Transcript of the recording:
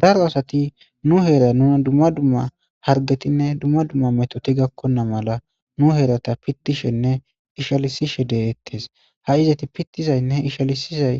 daro asati nu heera nuna dumma dumma hargetinne dumma dumma metoti gakkona mala nu heerata pitishenne ishalisishe deyettes ha izati pittizaynnehe ishalisizay